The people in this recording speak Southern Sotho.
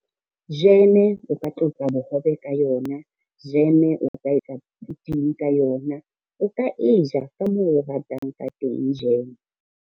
Jeme o ka tlotsa bohobe ka yona, jeme o ka etsa phuting ka yona, o ka e ja ka moo o ratang ka teng jeme.